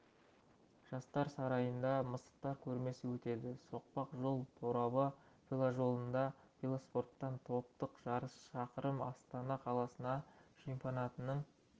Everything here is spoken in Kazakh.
жастар сарайында мысықтар көрмесі өтеді соқпақ жол торабы веложолында велоспорттан топтық жарыс шақырым астана қаласының чемпионатының